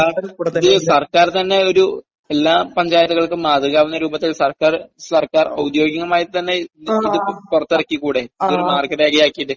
Sir, ഇത് സർക്കാർ തന്നെ ഒരു...എല്ലാ പഞ്ചായത്തുകൾക്കും മാതൃകയാകുന്ന രൂപത്തിൽ സർക്കാർ തന്നെ ഒരു...സർക്കാർ ഔദ്യോഗികമായിത്തന്നെ ഇത് പുറത്തിറക്കിക്കൂടെ? ഇതൊരു മാർഗ്ഗരേഖയാക്കിയിട്ട്?